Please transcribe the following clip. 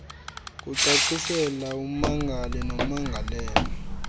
kucacisela ummangali nommangalelwa